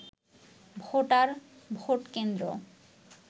voter, vote কেন্দ্র